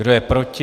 Kdo je proti?